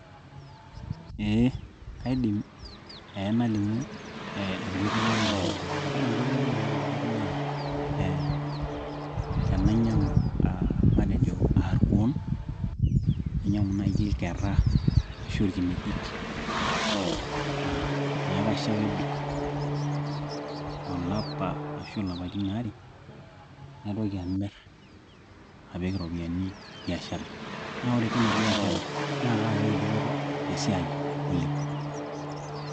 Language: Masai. eh, kaidim nalimu enkoitoi ai naayaki dupoto ore enkoitoi ai nayaki dupoto naa eh tenainyiang'u matejo uh irkuon nainyiang'u naaji irkerra ashu irkinejik uh neeku kaisho ake ebik olapa ashu ilapaitin aare naitoki amirr apik iropiyiani biashara naa ore tina biashara naa kaayaki dupoto tesiai ai oleng.